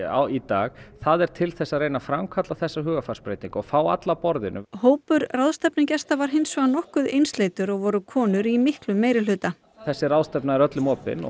í dag það er til þess að reyna að framkalla þessa hugarfarsbreytingu og fá alla að borðinu hópur ráðstefnugesta var hins vegar nokkuð einsleitur og voru konur í miklum meirihluta þessi ráðstefna er öllum opin og